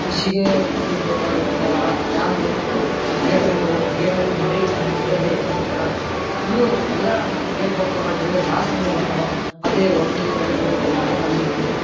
ಕೃಷಿಗೆ ನೀರು ಬೇಕಾಗುತ್ತೆ ಆಗ ಡ್ಯಾಮ್ ನು ಆ ಗೇಟ್ ಅನ್ನು ಗೇಟ್ ಓಪನ್ ಮಾಡಿ ಡ್ಯಾಮ್ ನಲ್ಲಿ ಇದ್ದ ನೀರು ಬಿಡ್ತಾ ಇರ್ತಾರ. ಫುಲ್ ಎಲ್ಲಾ ಗೇಟ್ ಓಪನ್ ಮಾಡಿದ್ರೆಜಾಸ್ತಿ ನೀರು ಬರ್ತಿರ್ತಾವ ಅದೇ ಒಂದು ಎರಡು ಗೇಟ್ ಓಪನ್ ಮಾಡಿದ್ರೆ ಕಮ್ಮಿ ನೀರು ಬರತ್ತೆ.